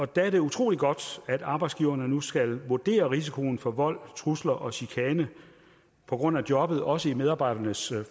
der er det utrolig godt at arbejdsgiverne nu skal vurdere risikoen for vold trusler og chikane på grund af jobbet også i medarbejdernes